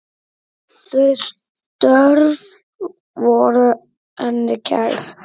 Þau störf voru henni kær.